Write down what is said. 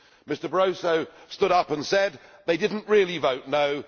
Mr Barroso stood up and said They did not really vote No'.